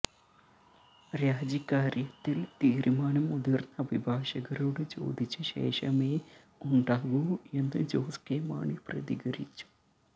രാജിക്കാര്യത്തിൽ തീരുമാനം മുതിർന്ന അഭിഭാഷകരോട് ചോദിച്ച ശേഷമേ ഉണ്ടാകൂ എന്ന് ജോസ് കെ മാണി പ്രതികരിച്ചു